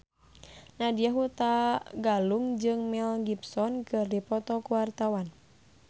Nadya Hutagalung jeung Mel Gibson keur dipoto ku wartawan